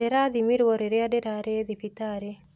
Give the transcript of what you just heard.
Ndĩrathimirwo rĩrĩa ndĩrarĩ thibitarĩ.